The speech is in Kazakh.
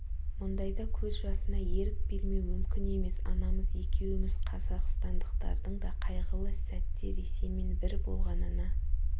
мұндайда көз жасыңа ерік бермеу мүмкін емес анамыз екеуіміз қазақстандықтардың да қайғылы сәтте ресеймен бір болғанына